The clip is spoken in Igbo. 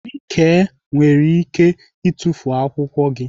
Nike nwere ike itufu akwụkwọ gị.